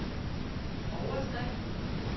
overskrift